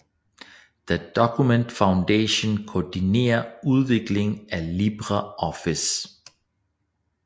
The Document Foundation koordinerer udviklingen af LibreOffice